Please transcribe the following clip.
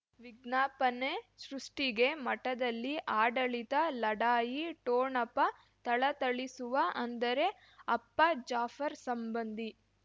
ವಿಜ್ಞಾಪನೆ ಸೃಷ್ಟಿಗೆ ಮಠದಲ್ಲಿ ಆಡಳಿತ ಲಢಾಯಿ ಠೋಣಪ ಥಳಥಳಿಸುವ ಅಂದರೆ ಅಪ್ಪ ಜಾಫರ್ ಸಂಬಂಧಿ